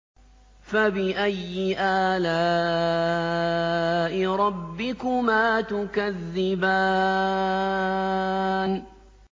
فَبِأَيِّ آلَاءِ رَبِّكُمَا تُكَذِّبَانِ